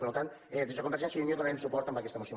per tant des de convergència i unió donarem suport a aquesta moció